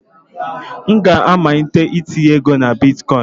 M ga-amalite itinye ego na bịtkọ̀ín